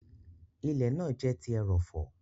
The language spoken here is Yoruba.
Ilẹ̀ náà jẹ ti erọ̀fọ̀.